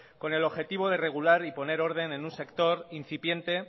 con el objetivo de regular y poner orden en un sector incipiente